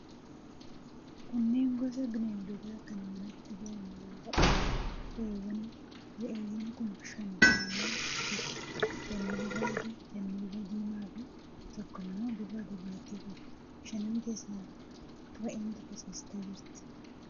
Kunneen gosa bineeldotaa kan manatti galan yoo ta'u, re'eewwaniidha. Re'eewwan kun shan ta'anii jiru. Lamni bifa adii, lamni bifa diimaafi tokko immoo bifa gurraattii qabdi. Shanan keessaa re'een tokko ciistee jirti.